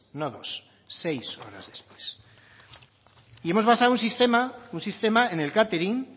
no dos seis horas después y hemos basado un sistema en el catering